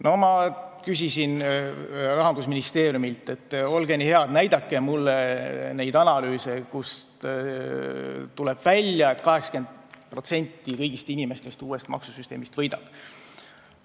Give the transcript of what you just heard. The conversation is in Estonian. No ma küsisin Rahandusministeeriumilt, et olge nii head, näidake mulle neid analüüse, kust tuleb välja, et 80% kõigist inimestest uuest maksusüsteemist võidab.